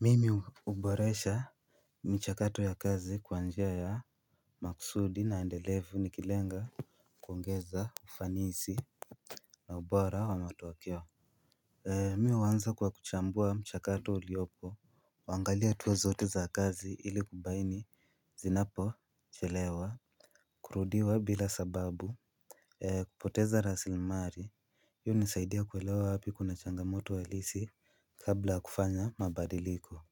Mimi huboresha mchakato ya kazi kwa njia ya makusudi na endelevu nikilenga kuongeza ufanisi na ubora wa matokeo. Mi huanza kwa kuchambua mchakato uliopo, kuangalia hatua zote za kazi ili kubaini zinapo chelewa, kurudiwa bila sababu kupoteza raslimali, hiyo hunisaidia kuelewa wapi kuna changamoto halisi kabla ya kufanya mabadiliko